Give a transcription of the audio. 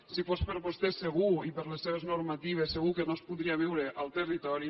si fos per vostè segur i per les seves normatives segur que no es podria viure al territori